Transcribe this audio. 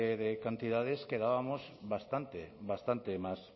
de cantidades quedábamos bastante bastante más